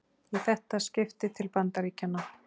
Í þetta skipti til Bandaríkjanna.